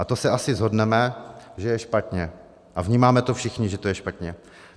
A to se asi shodneme, že je špatně, a vnímáme to všichni, že to je špatně.